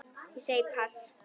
Ég segi pass.